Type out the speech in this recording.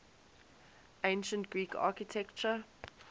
ancient greek architecture